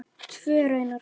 Tvö raunar.